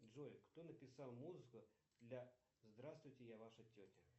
джой кто написал музыку для здравствуйте я ваша тетя